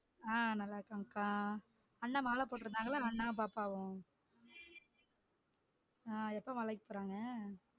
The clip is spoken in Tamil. ஆ நல்லா இருக்காங்கக்கா. அண்ணன் மால போட்டுருந்தாங்கல அண்ணாவும் பாப்பாவும் ஆஹ் எப்போ மலைக்கு போறாங்க?